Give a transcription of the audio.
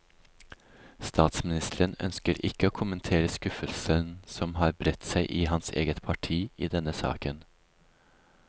Statsministeren ønsker ikke å kommentere skuffelsen som har bredt seg i hans eget parti i denne saken.